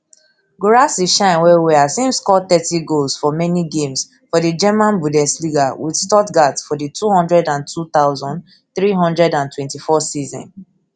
guirassy shine wellwell as im score thirty goals for many games for di german bundesliga wit stuttgart for di two hundred and two thousand, three hundred and twenty-four season